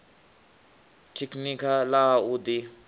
tekhinikha ḽa ha u ḓi